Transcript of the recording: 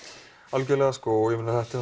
algjörlega sko